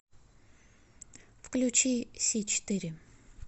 включи си четыре